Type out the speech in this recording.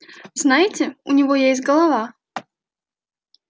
знаете у него есть голова